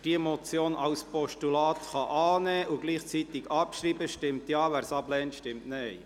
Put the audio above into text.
Wer diese Motion als Postulat annehmen und gleichzeitig abschreiben kann, stimmt Ja, wer dies ablehnt, stimmt Nein.